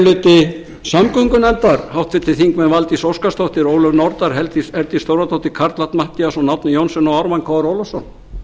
hluti samgöngunefndar háttvirtir þingmenn steinunn valdís óskarsdóttir ólöf nordal herdís þórðardóttir karl fimmti matthíasson árni johnsen og ármann krónu ólafsson